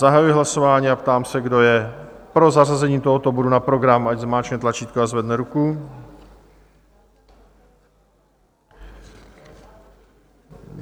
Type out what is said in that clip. Zahajuji hlasování a ptám se, kdo je pro zařazení tohoto bodu na program, ať zmáčkne tlačítko a zvedne ruku.